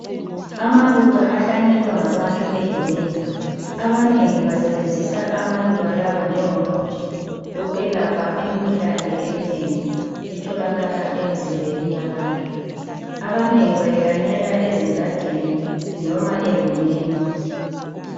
Amaluba ahlanyelwa ngabantu egumeni. Abanengi basebenzisa amaluba lawa njengomuthi okwelapha imkhuhlane eminengi etholakala emzimbeni yabantu, abanengi bayihlanyela ezigadini noma egumeni